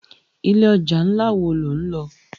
Ilé òjá nlá wó ló nlò?